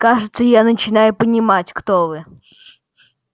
кажется я начинаю понимать кто вы